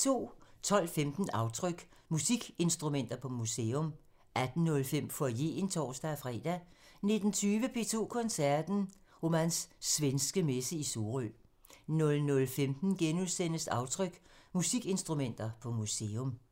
12:15: Aftryk – Musikinstrumenter på museum 18:05: Foyeren (tor-fre) 19:20: P2 Koncerten – Romans Svenske Messe i Sorø 00:15: Aftryk – Musikinstrumenter på museum *